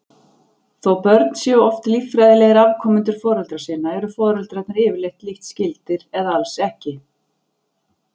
Þó börn séu oft líffræðilegir afkomendur foreldra sinna eru foreldrarnir yfirleitt lítt skyldir eða alls ekki.